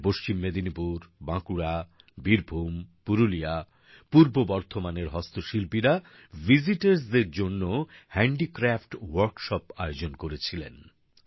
এখানে পশ্চিম মেদিনীপুর বাঁকুড়া বীরভূ্ম পুরুলিয়া পূর্ব বর্ধমানের হস্তশিল্পীরা বেড়াতে আসা মানুষদের জন্য হ্যান্ডিক্র্যাফট ওয়ার্কশপ আয়োজন করেছিলেন